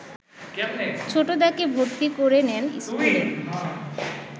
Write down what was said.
ছোটদাকে ভর্তি করে নেন ইস্কুলে